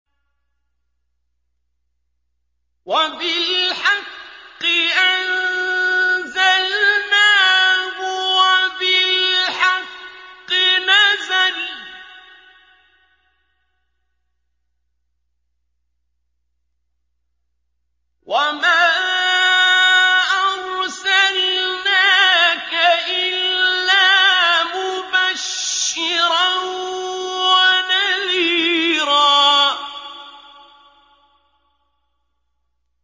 وَبِالْحَقِّ أَنزَلْنَاهُ وَبِالْحَقِّ نَزَلَ ۗ وَمَا أَرْسَلْنَاكَ إِلَّا مُبَشِّرًا وَنَذِيرًا